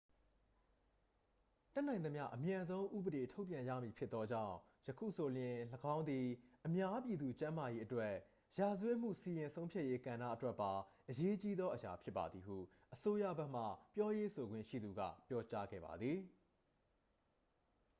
"""တတ်နိုင်သမျှအမြန်ဆုံး ဥပေဒေထုတ်ပြန်ရမည်ဖြစ်သောကြောင့် ယခုဆိုလျှင် ၎င်းသည် အများပြည်သူကျန်းမာရေးအတွက်ရော ရာဇဝတ်မှုစီရင်ဆုံးဖြတ်ရေးကဏ္ဍအတွက်ပါ အရေးကြီးသောအရာဖြစ်ပါသည်""၊ ဟု အစိုးရဘက်မှပြောရေးဆိုခွင့်ရှိသူက ပြောကြားခဲ့ပါသည်။